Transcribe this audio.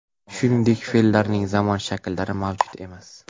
Shuningdek, fe’llarning zamon shakllari mavjud emas.